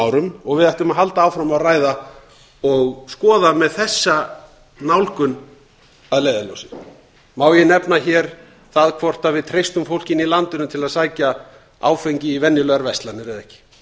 árum og við ættum að halda áfram að ræða og skoða með þessa nálgun að leiðarljósi má ég nefna hér það hvort við treystum fólkinu í landinu til að sækja áfengi í venjulegar verslanir eða ekki